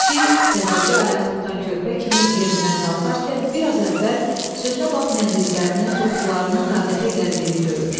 Kişi təzəcə ayaq tutan körpə kimi yerindən qalxarkən bir az əvvəl sözünə baxmayan dizlərinin topuqlarının taqətə gəldiyini görür.